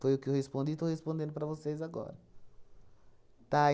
Foi o que eu respondi e estou respondendo para vocês agora. Tá?